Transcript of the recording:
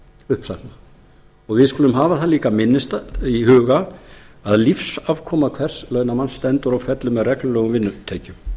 uppsagna við skulum hafa það líka í huga að lífsafkoma hvers launamanns stendur og fellur með reglulegum vinnutekjum